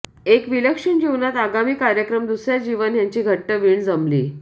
एक विलक्षण जीवनात आगामी कार्यक्रम दुसर्या जीवन ह्यांची घट्ट वीण जमली